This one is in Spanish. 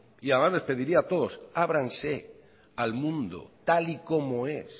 y además les pediría a todos ábranse al mundo tal y como es